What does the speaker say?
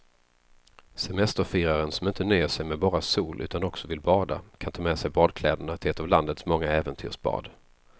Semesterfiraren som inte nöjer sig med bara sol utan också vill bada kan ta med sig badkläderna till ett av landets många äventyrsbad.